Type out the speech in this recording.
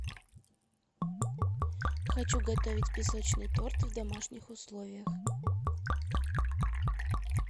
хочу готовить песочный торт в домашних условиях